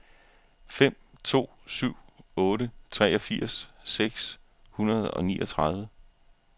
fem to syv otte treogfirs seks hundrede og niogtredive